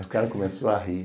Aí o cara começou a rir.